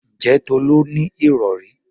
Ǹjẹ́ Tolú ní ìrọ̀rí?